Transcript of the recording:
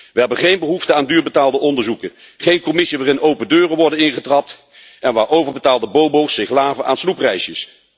We hebben geen behoefte aan duur betaalde onderzoeken, geen Commissie waarin open deuren worden ingetrapt en waar overbetaalde bobo's zich laven aan snoepreisjes.